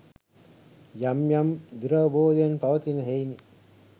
යම් යම් දුරවබෝධයන් පවතින හෙයිනි.